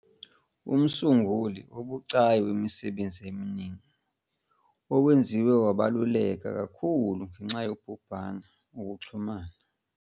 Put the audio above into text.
Umsunguli obucayi wemisebenzi eminingi, owenziwe wabaluleka kakhulu ngenxa yobhubhane, ukuxhumana.